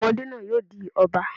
Ọmọdé náà yóò di Ọba.